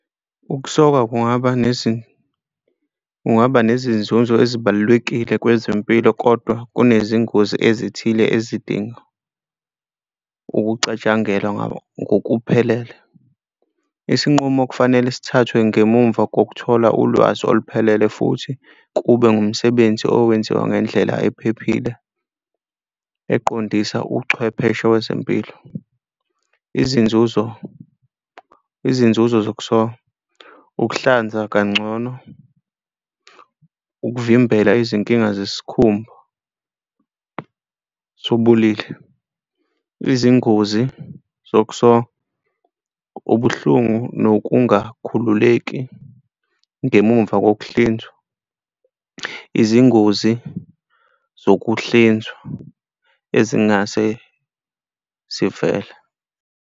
Ukusoka kungaba kungaba nezinzuzo ezibalulekile kwezempilo kodwa kunezingozi ezithile ezidinga ukucatshangelwa ngokuphelele. Isinqumo kufanele sithathwe ngemumva kokuthola ulwazi oluphelele, futhi kube ngumsebenzi owenziwa ngendlela ephephile, eqondisa uchwepheshe wezempilo. Izinzuzo, izinzuzo zokusoka, ukuhlanza kangcono ukuvimbela izinkinga zesikhumba sobolile. Izingozi zokusoka. Ubuhlungu nokungakhululeki ngemumva ngokuhlinzwa, izingozi zokuhlinzwa ezingase zivele.